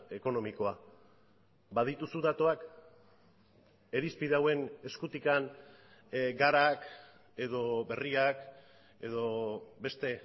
ekonomikoa badituzu datuak irizpide hauen eskutik garak edo berriak edo beste